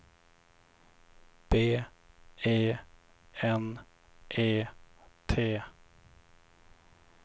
B E N E T